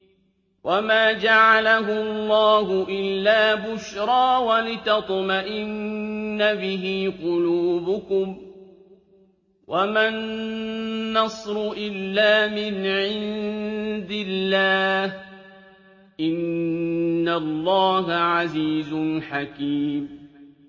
وَمَا جَعَلَهُ اللَّهُ إِلَّا بُشْرَىٰ وَلِتَطْمَئِنَّ بِهِ قُلُوبُكُمْ ۚ وَمَا النَّصْرُ إِلَّا مِنْ عِندِ اللَّهِ ۚ إِنَّ اللَّهَ عَزِيزٌ حَكِيمٌ